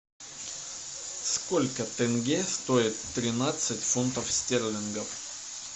сколько тенге стоит тринадцать фунтов стерлингов